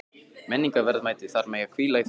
Menningarverðmætin þar mega hvíla í friði.